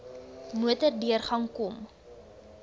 motor deurgang kon